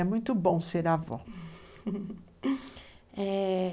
É muito bom ser avó é...